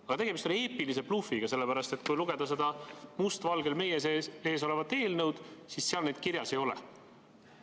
Aga tegemist on eepilise blufiga, sellepärast et kui lugeda seda must valgel meie ees olevat eelnõu, siis seal neid kirjas ei ole.